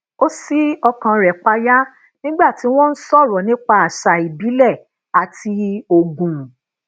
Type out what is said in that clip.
ó si okan re paya nígbà tí wọn ń sọrọ nípa àṣà ìbílẹ àti ogún